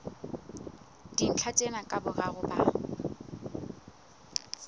dintlha tsena ka boraro ba